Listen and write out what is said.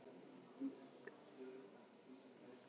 Og þá var mínum heimspekilegu þönkum lokið í bili.